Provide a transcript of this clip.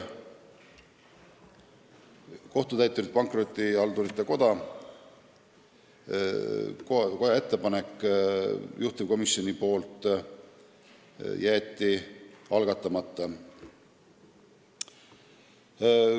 Kohtutäiturite ja Pankrotihaldurite Koja ettepanekut juhtivkomisjon heaks ei kiitnud.